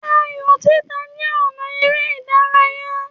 Ààyò títà jẹ́ ọ̀nà eré ìdárayá